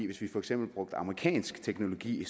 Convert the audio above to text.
hvis vi for eksempel brugte amerikansk teknologi